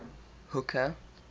hooker